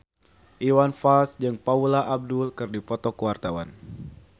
Iwan Fals jeung Paula Abdul keur dipoto ku wartawan